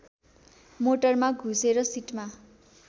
मोटरमा घुसेर सिटमा